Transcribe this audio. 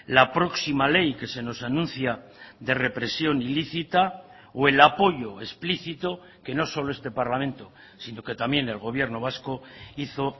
la próxima ley que se nos anuncia de represión ilícita o el apoyo explícito que no solo este parlamento sino que también el gobierno vasco hizo